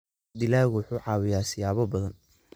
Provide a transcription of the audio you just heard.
Dalaggu wuxuu caawiyaa siyaabo badan.